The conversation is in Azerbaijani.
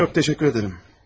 Şimdilik yox, təşəkkür edirəm.